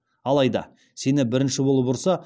алайда сені бірінші болып ұрса